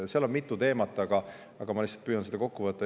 Seal on mitu teemat, aga ma lihtsalt püüan seda kokku võtta.